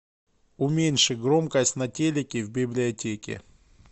уменьши громкость на телике в библиотеке